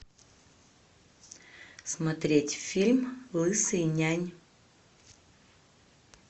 смотреть фильм лысый нянь